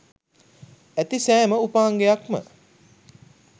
ඇති සෑම උපාංගයක්ම